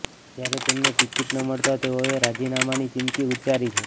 ત્યારે તેમને ટિકિટ ન મળતા તેઓએ રાજીનામાની ચીમકી ઉચ્ચારી છે